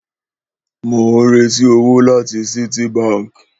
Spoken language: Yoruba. Mò ń retí owó láti Citibank